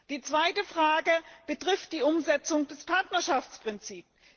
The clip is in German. Die zweite Frage betrifft die Umsetzung des Partnerschaftsprinzips.